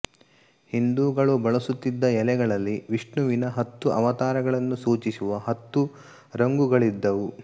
ಹಿಂದುಗಳು ಬಳಸುತ್ತಿದ್ದ ಎಲೆಗಳಲ್ಲಿ ವಿಷ್ಣುವಿನ ಹತ್ತು ಅವತಾರಗಳನ್ನು ಸೂಚಿಸುವ ಹತ್ತು ರಂಗುಗಳಿದ್ದುವು